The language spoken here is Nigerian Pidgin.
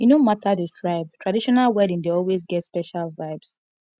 e no matter the tribe traditional wedding dey always get special vibes